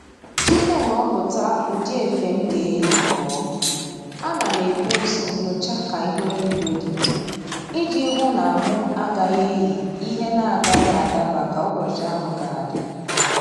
Tupu m ghọpụta ụdị efe m ga-eyi pụọ, ana m ebu ụzọ nyochaa ka ihu eluigwe dị iji hụ na mụ agaghị eyị ihe na-agaghị adaba ka ụbọchị ahụ ga-adị